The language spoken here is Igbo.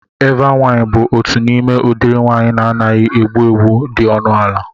Eva wain bụ otu n'ime udiri wain na-anaghị egbu egbu dị ọnụ ala